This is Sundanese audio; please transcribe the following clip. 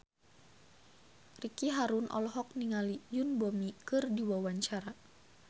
Ricky Harun olohok ningali Yoon Bomi keur diwawancara